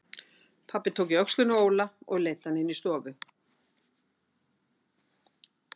Pabbi tók í öxlina á Óla og leiddi hann inn í stofu.